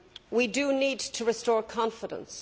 We do need to restore confidence.